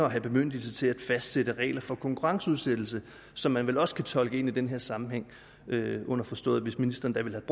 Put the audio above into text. at have bemyndigelse til at fastsætte regler for konkurrenceudsættelse som man vel også kan tolke ind i den her sammenhæng underforstået hvis ministeren da ville